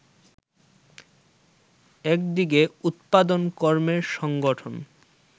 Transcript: একদিকে উৎপাদন-কর্মের সংগঠন